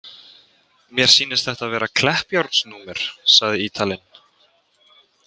Mér sýnist þetta vera Kleppjárnsnúmer, sagði Ítalinn.